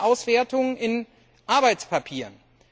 Man findet die Auswertung in Arbeitspapieren.